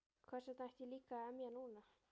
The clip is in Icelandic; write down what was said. Hversvegna ætti ég líka að emja núna?